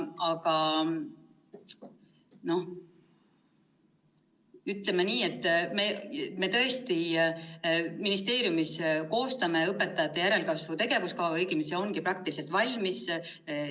Ütleme nii, et me ministeeriumis koostame õpetajate järelkasvu tegevuskava, õigemini see ongi peaaegu valmis.